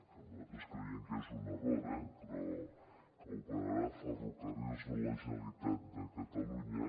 que nosaltres creiem que és un error eh però que operarà ferrocarrils de la generalitat de catalunya